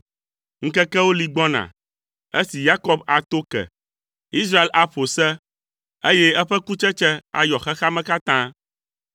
Ŋkekewo li gbɔna esi Yakob ato ke; Israel aƒo se, eye eƒe kutsetse ayɔ xexea me katã.